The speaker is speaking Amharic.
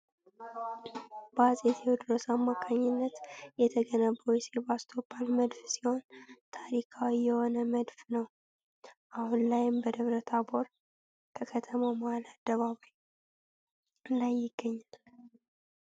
በአጼ ቴዎድሮስ አማካኝነት የተገነባው የሴባስ ቶፖል መድፍ ሲሆን ታሪካዊ የሆነ መድፍ ነው ። አሁን ላይም በደብረታቦር ከከተማው መሃል አደባባይ ላይ ይገኛል።